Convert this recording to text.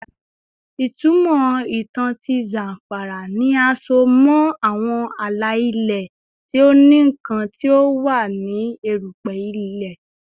Itumọ itan ti Zamfara ni a so mọ awọn ala-ilẹ ti o ni nkan ti o wa ni erupe ile